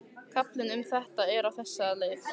Kaflinn um þetta er á þessa leið